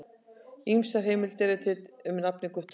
Ýmsar heimildir eru til um nafnið Guttorm.